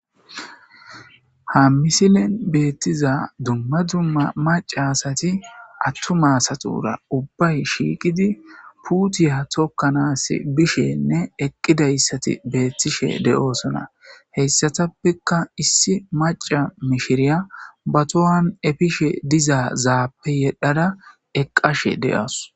ha misilen beettiza dumma dumma maca asati attuma asatura ubbay shiiqidi puutiya tokkanaas bishenne eqqidayssati beettishe de'oosona heyssatappekka issi maca mishiriya ba tohan efishe dizaazaappe yedhada eqqashe de'awus